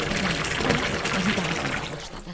Nənəsi də onu danlamağa başladı.